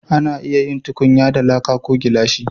A na iya yin tukunya da laƙa ko gilashi